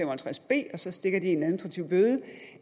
og halvtreds b og så stikker én en administrativ bøde